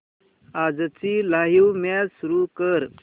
आजची live match सुरू कर